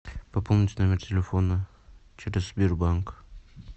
пополнить номер телефона через сбербанк